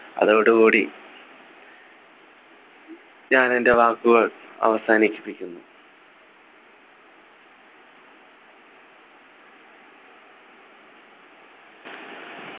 അതോടു കൂടി ഞാൻ എൻ്റെ വാക്കുകൾ അവസാനിപ്പിക്കുന്നു